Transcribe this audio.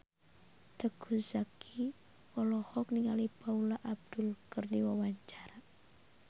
Teuku Zacky olohok ningali Paula Abdul keur diwawancara